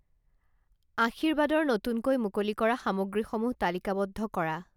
আশীৰ্বাদৰ নতুনকৈ মুকলি কৰা সামগ্ৰীসমূহ তালিকাবদ্ধ কৰা।